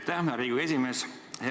Aitäh, hea Riigikogu esimees!